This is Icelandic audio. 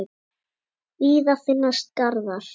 Víða finnast garðar.